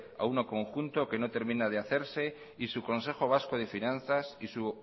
a uno conjunto que no termina de hacer y su consejo vasco de finanzas y su